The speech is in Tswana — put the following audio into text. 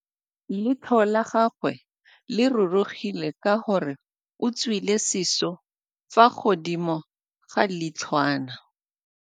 Leitlhô la gagwe le rurugile ka gore o tswile sisô fa godimo ga leitlhwana.